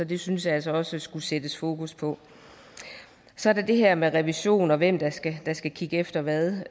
det synes jeg altså også der skulle sættes fokus på så er der det her med revision og hvem der skal skal kigge efter hvad